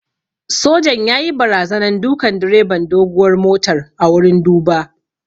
Sojan yayi barazanan dukan direban doguwar motar a wurin duba